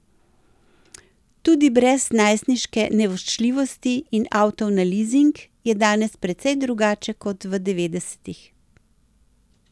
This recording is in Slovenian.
Tudi brez najstniške nevoščljivosti in avtov na lizing je danes precej drugače kot v devetdesetih.